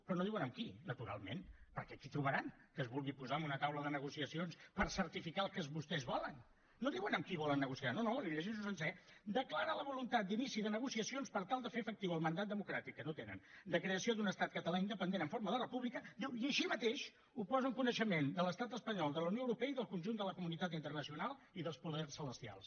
però no diuen amb qui naturalment perquè a qui trobaran que es vulgui posar en una taula de negociacions per certificar el que vostès volen no diuen amb qui volen negociar no no li ho llegeixo sencer declara la voluntat d’inici de negociacions per tal de fer efectiu el mandat democràtic que no tenen de creació d’un estat català independent en forma de república diu i així mateix ho posa en coneixement de l’estat espanyol de la unió europea i del conjunt de la comunitat internacional i dels poders celestials